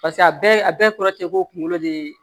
paseke a bɛɛ kɔrɔ te ko kunkolo de ye